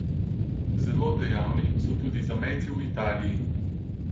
Zelo dejavni so tudi zamejci v Italiji.